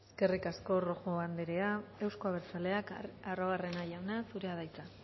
eskerrik asko rojo anderea euzko abertzaleak arruabarrena jauna zurea da hitza